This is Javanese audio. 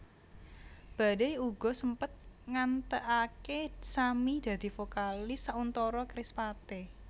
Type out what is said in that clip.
Badai uga sempet ngantèkaké Sammy dadi vokalis sauntara Kerispatih